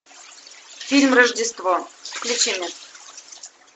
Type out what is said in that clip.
фильм рождество включи мне